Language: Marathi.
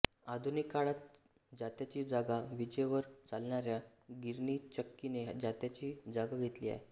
आधुनिक काळात जात्याची जागा विजेवर चालणाऱ्या गिरणीचक्कीने जात्याची जागा घेतली आहे